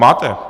Máte.